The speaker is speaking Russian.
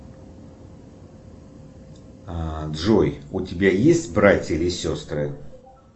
джой у тебя есть братья или сестры